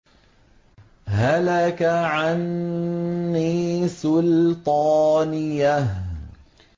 هَلَكَ عَنِّي سُلْطَانِيَهْ